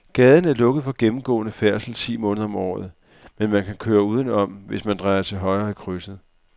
Gaden er lukket for gennemgående færdsel ti måneder om året, men man kan køre udenom, hvis man drejer til højre i krydset.